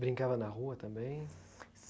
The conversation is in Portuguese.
Brincava na rua também?